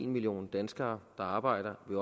million danskere der arbejder vil